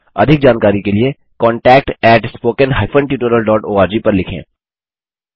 अधिक जानकारी के लिए contactspoken tutorialorg पर लिखें